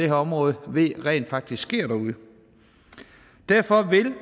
her område ved rent faktisk sker derude derfor vil